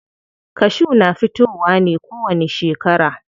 Kashu na fitowa ne kowani shekara.